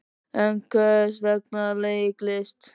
En hvers vegna leiklist?